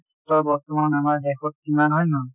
ক্ষেত্ৰত বৰ্তমান আমাৰ দেশত কিমান হয় নে নহয়?